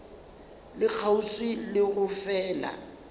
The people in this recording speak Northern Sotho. le kgauswi le go fela